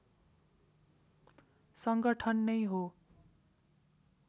संगठन नै हो